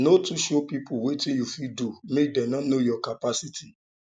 no too show pipo wetin you fit do make dem no know your capacity